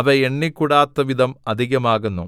അവ എണ്ണിക്കൂടാത്തവിധം അധികമാകുന്നു